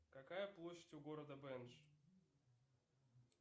какая площадь у города бенш